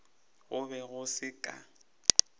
go be go se ka